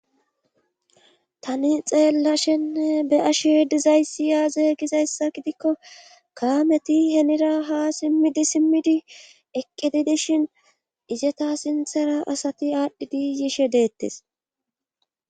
tani xeellashenne be ashe dizayssi yaaze gizayssa gidikko kaameti henira ha simmidi simmidi eqqididishin ijeta sinthera asati aadhdhidi yishe deettes